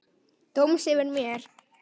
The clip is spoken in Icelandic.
Dóms yfir mér.